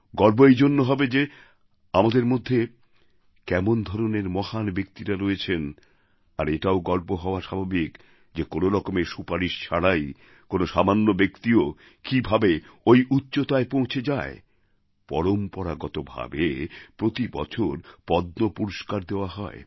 গর্ব এই জন্য হবে যে আমাদের মধ্যে কেমন ধরনের মহান ব্যক্তিরা রয়েছেন আর এটাও গর্ব হওয়া স্বাভাবিক যে কোনও রকমের সুপারিশ ছাড়াই কোনও সামান্য ব্যক্তিও কীভাবে ওই উচ্চতায় পৌঁছে যায় পরম্পরাগতভাবে প্রতিবছর পদ্ম পুরস্কার দেওয়া হয়